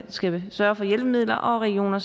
skal sørge for hjælpemidler og at regioner